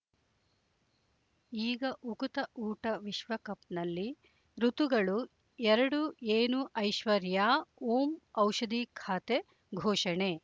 ಈಗ ಉಕುತ ಊಟ ವಿಶ್ವಕಪ್‌ನಲ್ಲಿ ಋತುಗಳು ಎರಡು ಏನು ಐಶ್ವರ್ಯಾ ಓಂ ಔಷಧಿ ಖಾತೆ ಘೋಷಣೆ